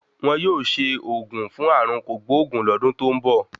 Won yóò ṣe ògùn fún ààrùn kògbóògùn lọ́dún tó ń bọ̀.